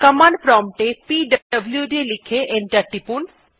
command prompt এ পিডব্লুড লিখে এন্টার টিপুন